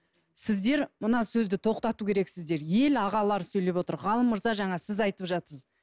сіздер мына сөзді тоқтату керексіздер ел ағалары сөйлеп отыр ғалым мырза жаңа сіз айтып жатырсыз